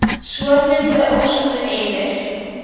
Svo dundu ósköpin yfir.